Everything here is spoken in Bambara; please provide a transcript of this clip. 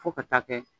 Fo ka taa kɛ